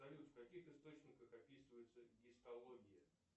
салют в каких источниках описывается гистология